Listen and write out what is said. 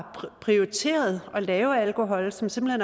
prioriteret at lave alkohol som simpelt